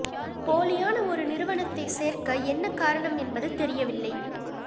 போலியான ஒரு நிறுவனத்தைச் சேர்க்க என்ன காரணம் என்பது தெரியவில்லை